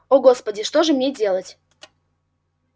о господи что же мне делать